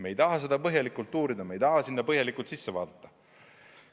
Me ei taha seda põhjalikult uurida, ma ei taha sinna põhjalikult sisse vaadata.